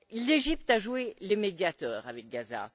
L'Égypte a joué les médiateurs avec Gaza.